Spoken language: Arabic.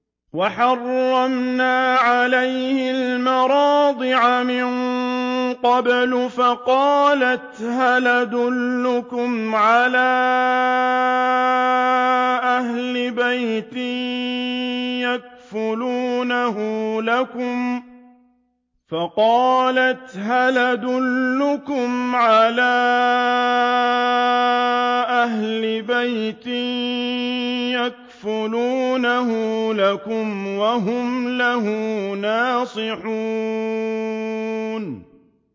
۞ وَحَرَّمْنَا عَلَيْهِ الْمَرَاضِعَ مِن قَبْلُ فَقَالَتْ هَلْ أَدُلُّكُمْ عَلَىٰ أَهْلِ بَيْتٍ يَكْفُلُونَهُ لَكُمْ وَهُمْ لَهُ نَاصِحُونَ